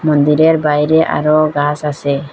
মন্দিরের বাইরে আরো গাছ আসে।